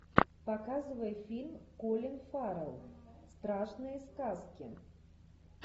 показывай фильм колин фаррелл страшные сказки